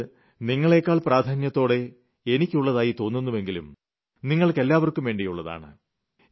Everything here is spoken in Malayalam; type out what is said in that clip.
അത് നിങ്ങളെക്കാൾ ഏറെ എനിക്ക് പ്രധാനപ്പെട്ടതാണെങ്കിലും നിങ്ങൾക്കെല്ലാവർക്കും വേണ്ടിയുളളതാണ്